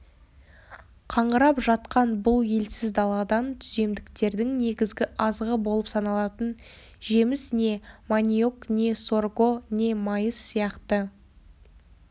қаңырап жатқан бұл елсіз даладан түземдіктердің негізгі азығы болып саналатын жеміс не маниок не сорго не майыс сияқты